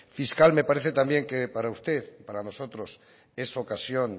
fiscal me parece también que para usted y para nosotros es ocasión